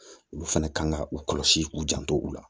Olu fɛnɛ kan ka u kɔlɔsi k'u janto u la